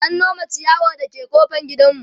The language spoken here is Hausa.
an Nome chiyawar da ke ƙofar gidanmu